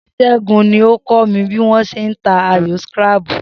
S̩é̩gun ni ó kó̩ mi bí wó̩n s̩e ń ta ayò scrabble